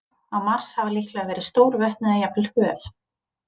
Á Mars hafa líklega verið stór vötn eða jafnvel höf.